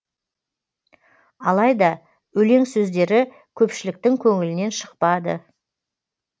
алайда өлең сөздері көпшіліктің көңілінен шықпады